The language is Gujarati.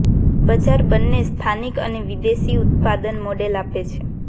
બજાર બંને સ્થાનિક અને વિદેશી ઉત્પાદન મોડેલ આપે છે